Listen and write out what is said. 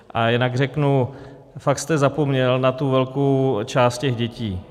A jinak řeknu: fakt jste zapomněl na tu velkou část těch dětí.